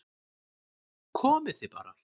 Komið þið bara